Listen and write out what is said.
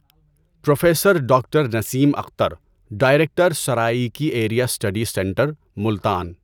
professor doctor Naseem Akhtar, director Saraiki area study centre, Multan